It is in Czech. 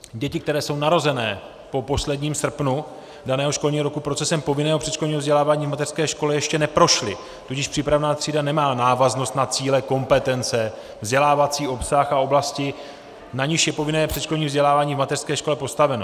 Děti, které jsou narozené po posledním srpnu daného školního roku, procesem povinného předškolního vzdělávání v mateřské škole ještě neprošly, tudíž přípravná třída nemá návaznost na cíle, kompetence, vzdělávací obsah a oblasti, na nichž je povinné předškolní vzdělávání v mateřské škole postaveno.